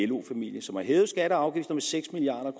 lo familie som har hævet skatter og afgifter med seks milliard